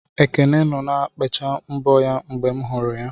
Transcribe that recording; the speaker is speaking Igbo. Ekene nọ na-ekpecha mbọ aka ya mgbe m hụrụ ya.